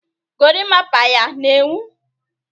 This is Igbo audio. gorimapa ya na-enwu?